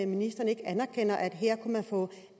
ministeren ikke anerkender at her kunne man få